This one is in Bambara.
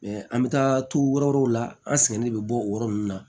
an bɛ taa t'u yɔrɔ wɛrɛw la an sɛgɛn ne bɛ bɔ o yɔrɔ nun na